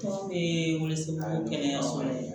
gɛlɛya fɔlɔ ye